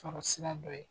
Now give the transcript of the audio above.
Sɔrɔ sira dɔ ye